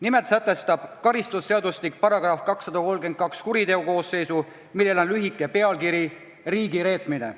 Nimelt sätestab karistusseadustiku § 232 kuriteokoosseisu, millel on lühike pealkiri "Riigireetmine".